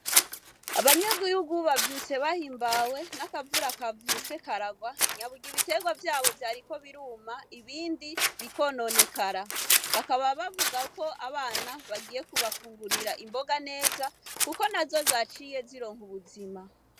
Abanyagihugu bazindutse bahimbawe nakavura kavyutse kararwa, naburya ibiterwa vyabo vyariko biruma ibindi bikononekara bakaba bavuga ko abana bagiye kubafungurira imboga neza kuko nazo zaciye zironka ubuzima.